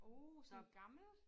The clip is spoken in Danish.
Uh der gammel